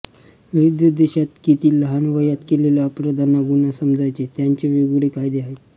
विविध देशात किती लहान वयात केलेल्या अपराधांना गुन्हा समजायचे त्याचे वेगवेगळे कायदे आहेत